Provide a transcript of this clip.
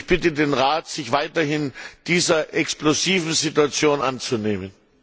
Ich bitte den Rat, sich weiterhin dieser explosiven Situation anzunehmen.